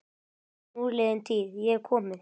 Núliðin tíð- ég hef komið